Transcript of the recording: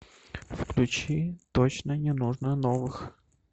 включи точно не нужно новых